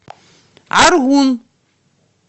аргун